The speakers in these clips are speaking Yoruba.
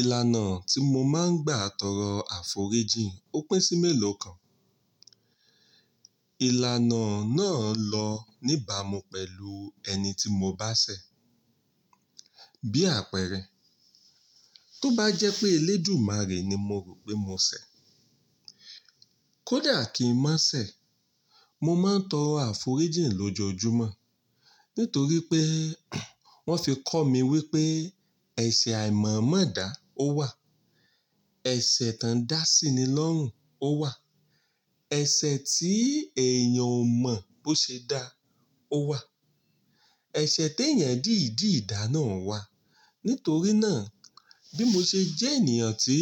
Ìlànà tí mo máa ń gbà tọrọ àforíjìn ó pín sí mẹ́lò kan. Ìlànà náà lọ níbà mú pẹ̀lú ẹni tí mo bá ṣẹ̀, bí àpẹẹrẹ, tó bá jẹ́ pé eléjù márè ni mo rò pé mo ṣẹ̀, kódà kí n má ṣẹ̀, mo máa ń tọrọ àforíjìn lójoójúmọ́. Nítorí pé wọ́n fi kọ́ mi wípé ẹsẹ̀ àìmọ̀ mo da, ó wà. Ẹsẹ̀ tán dá sí ni lọ́rùn, ó wà. Ẹsẹ̀ tí èèyàn ò mọ̀ bó ṣe dá, ó wà. Ẹsẹ̀ te èèyàn dìdì dá náà wà. Nítorí náà, bí mo ṣe jẹ́ ènìyàn tí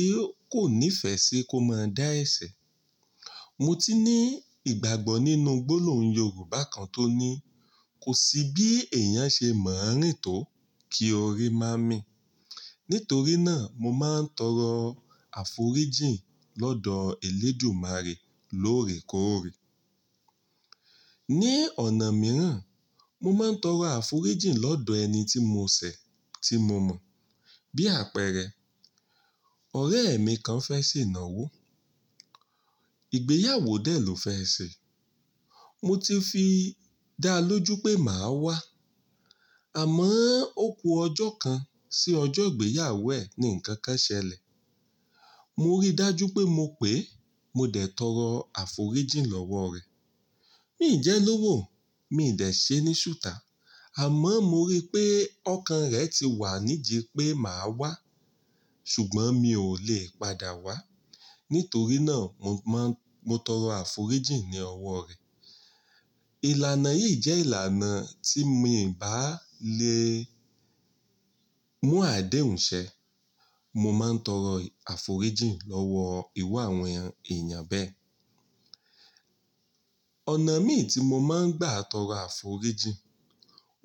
kò nífẹ̀ẹ́ sí kó máa dá ẹsẹ̀, mo ti ní ìgbàgbọ́ nínú gbólóhùn Yorùbá kan tó ní, "Kò sí bí èèyàn ṣe mọ àárín tó kí ọ̀ri máa mí." Nítorí náà, mo máa ń tọrọ àforíjìn lọ́dọ̀ elédumárè lóòrè kóòrè. Ní ọ̀nà mìíràn, mo máa ń tọrọ àforíjìn lọ́dọ̀ ẹni tí mo ṣẹ̀ tí mo mọ̀, bí àpẹẹrẹ, ọ̀rẹ́ mi kan fẹ́ ṣe ìnáwó. Ìgbéyàwó dẹ̀ ló fẹ́ ṣe. Mo ti fi dáa lójú pé màá wá, àmọ́ ó ku ọjọ́ kan sí ọjọ́ ìgbéyàwó ẹ̀ ni ǹkan kan ṣẹlẹ̀. Mo rí dájú pé mo pè, mo dẹ̀ tọrọ àforíjìn lọ́wọ́ rẹ̀. Mí jẹ́ lọ́wọ́, mí dẹ̀ ṣe ní sùtà, àmọ́ mo rí pé ọkàn rẹ̀ ti wà nídi pé màá wá, ṣùgbọ́n mi ò lè padà wá. Nítorí náà, mo má-- mo tọrọ àforíjìn ní ọwọ́ rẹ̀. Ìlànà yìí jẹ́ ìlànà tí mi ò bá le mú àdéhùn ṣẹ, mo máa ń tọrọ àforíjìn lọ́wọ́ ìru àwọn èèyàn bẹ́ẹ̀. Ọ̀nà mí ì tí mo máa ń gbà tọrọ àforíjìn,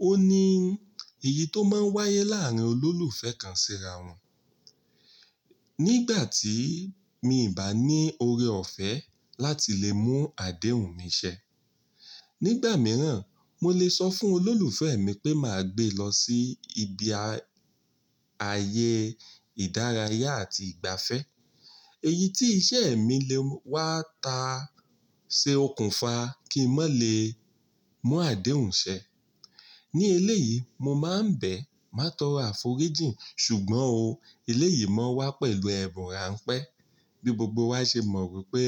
ó ní èyí tó máa ń wáyé láàrin olólùfẹ́ kan síra wọn. Nígbà tí mi n bá ní ọ̀rẹ́ ọ̀fẹ́ láti lè mú àdéhùn mi ṣẹ, nígbà mìíràn mo lè sọ fún olólùfẹ́ mi pé màá gbé lọ sí ibi ayé ìdárayá àti ìgbafẹ́. Èyí tí iṣẹ́ mi lè wá ta ṣe okùnfà kí n má lè mú àdéhùn ṣẹ. Ni eléyìí, mo máa ń bẹ̀, màá tọrọ àforíjìn. Ṣùgbọ́n o, eléyìí máa ń wá pẹ̀lú ẹ̀bùn ránpẹ́ bí gbogbo wa ṣe mọ̀ pé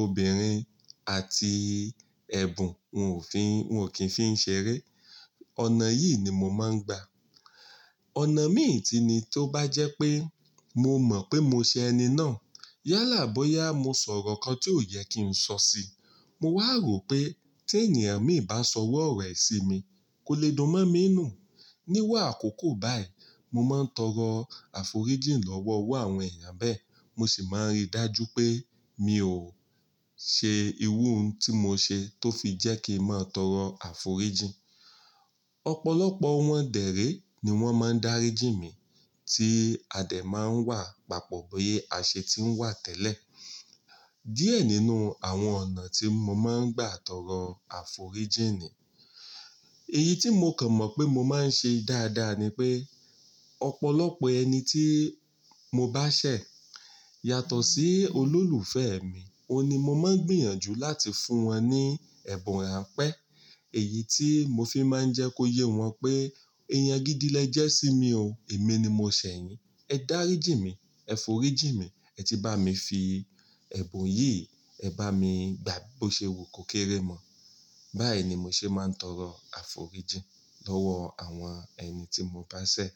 obìnrin àti ẹ̀bùn wọn ò fi-- wọn ò kí ń fi ń ṣeré. Ọ̀nà yìí ni mo máa ń gbà. Ọ̀nà mí tun ni tó bá jẹ́ pé mo mọ̀ pé mo ṣẹ ẹni náà, yálà bóyá mo sọ̀rọ̀ ǹkan tí ò yẹ kí n sọ síi, mo wá rò pé tí ènìyàn mi bá sọ iru ọ̀rọ̀ ẹ̀ sí mi, kò le dun mọ́ mí nù. Níru a àkókò báyìí, mo máa ń tọrọ àforíjìn lọ́wọ́ ìrú àwọn èèyàn bẹ́ẹ̀, mo sì máa ń rí dájú pé mi ò ṣe ìrú n tí mo ṣe tó fi jẹ́ kí n máa tọrọ àforíjìn. Ọ̀pọ̀lọpọ̀ wọn dẹ̀ ré ni wọ́n máa ń dáríjì mí tí adé máa ń wà papọ̀ bi ase tí ń wà tẹ́lẹ̀. Díẹ̀ nínú àwọn ọ̀nà tí mo máa ń gbà tọrọ àforíjìn ni. Iyí tí mo kàn mọ̀ pé mo máa ń ṣe dáadáa ni pé ọ̀pọ̀lọpọ̀ ẹni tí mo bá ṣẹ̀ yàtọ̀ sí olólùfẹ́ mi, òun ni mo máa ń gbìyànjú láti fún wọn ní ẹ̀bùn ránpẹ́. Èyí tí mo fi máa ń jẹ́ kó yé wọn pé èèyàn gidi lẹ jẹ́ sí mi ò, èmi ni mo ṣẹ̀ yín. Ẹ dáríjì mí, ẹ foríjì mí, ẹ si bá mi fi ẹ̀bùn yìí, ẹ bá mi gbà bó ṣe wo kò kéré mọ̀. Báyìí ni mo ṣe máa ń tọrọ àforíjìn lọ́wọ́ àwọn ẹni tí mo bá ṣẹ̀.